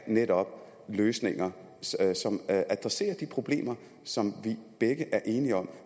netop er løsninger som adresserer de problemer som vi begge er enige om